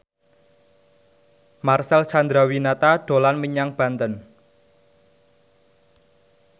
Marcel Chandrawinata dolan menyang Banten